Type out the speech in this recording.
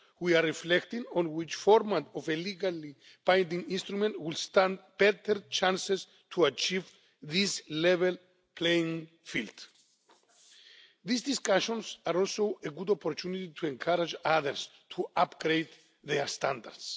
We are reflecting on which format of a legally binding instrument would stand better chances to achieve this level playing field. These discussions are also a good opportunity to encourage others to upgrade their standards.